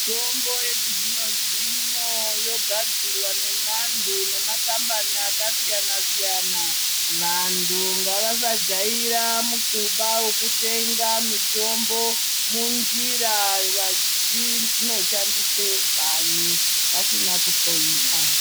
Mitombo yechizvino zvino yogadzirwa nemanthu nemakambani akasiyana siyana vanthu ngavasajaira mikuba wekutenga mitombo munjira vachinoshandise kanyi vasina kuhloyiwa.